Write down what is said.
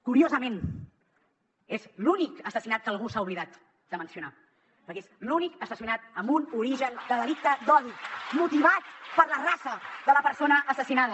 curiosament és l’únic assassinat que algú s’ha oblidat de mencionar perquè és l’únic assassinat amb un origen de delicte d’odi motivat per la raça de la persona assassinada